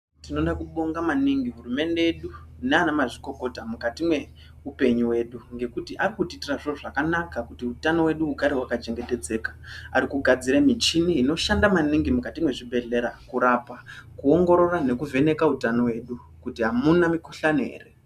Tinoda kubonga maningi hurumende yedu nanamazvikokota mukati meupenyu hwedu ngekuti varikutiitira zviro zvakanaka kuti utano hwedu hugare hwakachengetedzeka. Arikugadzira michini inoshanda maningi mukati mezvibhedhlera kurapa, kuongorora nekuvheneka utano hwedu kuti hamuna mikhuhlane here.